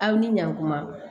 Aw ni ɲankuma